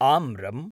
आम्रम्